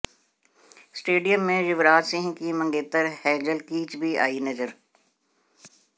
stadium में युवराज सिंह की मंगेतर हेजल कीच भी आईं नजर